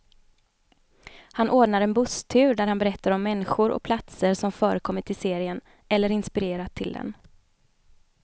Han ordnar en busstur där han berättar om människor och platser som förekommit i serien, eller inspirerat till den.